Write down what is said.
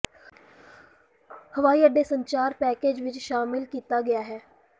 ਹਵਾਈ ਅੱਡੇ ਸੰਚਾਰ ਪੈਕੇਜ ਵਿੱਚ ਸ਼ਾਮਿਲ ਕੀਤਾ ਗਿਆ ਹੈ